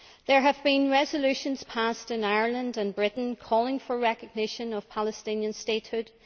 There have been resolutions passed in Ireland and Britain calling for recognition of Palestinian statehood.